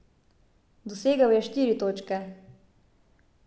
Dosegel je štiri točke.